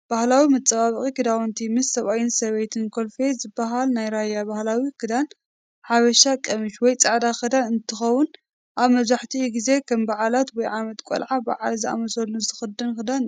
ባህላዊ መፃባበቂ ክዳውንቲ ምስ ሰብኣይን ሰበይቲ ኮልፌ ዝበሃል ናይ ራያ ባህላዊ ክዳን ሓበሻ ቀምሽ ወይ ፃዕዳ ክዳን እንት ከውን ኣብ መብዛሕትኡ ግዚ ከም በዓላት ወይ ዓመት ቆላዓ ፣መርዓ ዝኣመሳሰሉ ዝክዳን ክዳንእዩ።